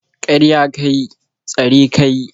Karya ka yi, tsare ka yi